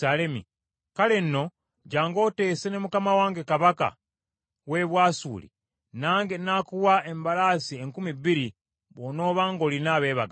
“ ‘Kale nno, jjangu oteese ne mukama wange kabaka w’e Bwasuli, nange n’akuwa embalaasi enkumi bbiri bw’onooba ng’olina abeebagazi.